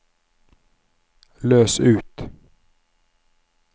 løs ut